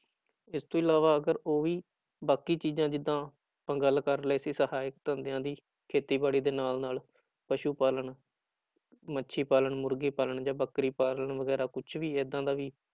ਇਸ ਤੋਂ ਇਲਾਵਾ ਅਗਰ ਉਹ ਵੀ ਬਾਕੀ ਚੀਜ਼ਾਂ ਜਿੱਦਾਂ ਆਪਾਂ ਗੱਲ ਕਰ ਰਹੇ ਸੀ ਸਹਾਇਕ ਧੰਦਿਆਂ ਦੀ ਖੇਤੀਬਾੜੀ ਦੇ ਨਾਲ ਨਾਲ ਪਸੂ ਪਾਲਣ, ਮੱਛੀ ਪਾਲਣ ਮੁਰਗੀ ਪਾਲਣ ਜਾਂ ਬੱਕਰੀ ਪਾਲਣ ਵਗ਼ੈਰਾ ਕੁਛ ਵੀ ਏਦਾਂ ਦਾ ਵੀ